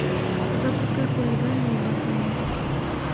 запускай хулиганы и ботаны